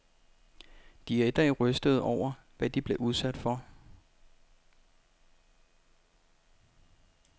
De er i dag rystede over, hvad de blev udsat for.